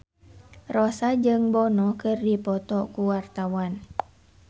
Rossa jeung Bono keur dipoto ku wartawan